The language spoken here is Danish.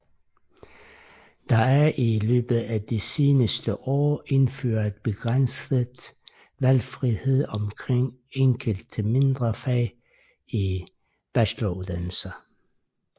Der er i løbet af de seneste år indført begrænset valgfrihed omkring enkelte mindre fag i bacheloruddannelsen